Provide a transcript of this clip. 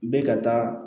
Bɛ ka taa